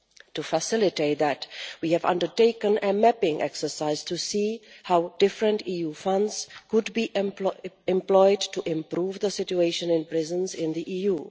To facilitate that we have undertaken a mapping exercise to see how different EU funds could be employed to improve the situation in prisons in the EU.